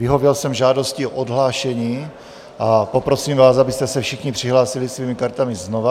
Vyhověl jsem žádosti o odhlášení a poprosím vás, abyste se všichni přihlásili svými kartami znova.